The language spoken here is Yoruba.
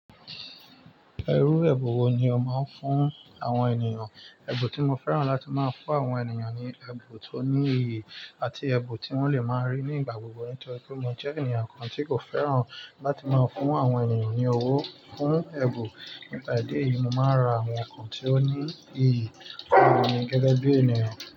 Irú ẹbun wo ni o máa ń fún àwọn ènìyàn? Ebun tí mo fẹ́ràn láti máa ń fún àwọn ènìyàn ni ẹbun tó ní iyì àti ẹbun tí wọ́n lè máa rí ní ìgbà gbogbo. Nítorí pé mo jẹ́ ènìyàn kan tí kò fẹ́ràn láti máa fún àwọn ènìyàn ní owó fún ẹbun Nípa idi eyí, mo máa ń ra àwọn nǹkan tí ó ní iyì fún ènì gẹ́gẹ́ bí ènìyàn.